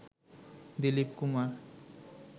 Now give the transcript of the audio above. Dilip Kumar